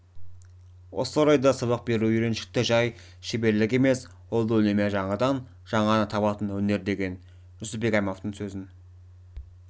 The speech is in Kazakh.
осы орайда сабақ беру үйреншікті жай шеберлік емес ол үнемі жаңадан жаңаны табатын өнер деген жүсіпбек аймауытовтың сөзін